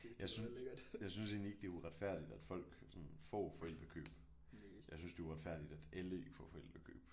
Jeg jeg synes egentlig ikke det er uretfærdigt at folk sådan får forældrekøb jeg synes det er uretfærdigt at alle ikke får forældrekøb